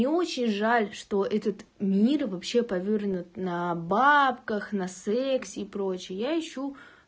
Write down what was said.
мне очень жаль что этот мир вообще повернут на бабках на сексе и прочее я ищу